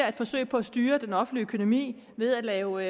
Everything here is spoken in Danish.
et forsøg på at styre den offentlig økonomi ved at lave